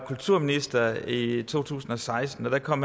kulturminister i to tusind og seksten og kom